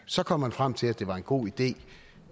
så kom man frem til at det var en god idé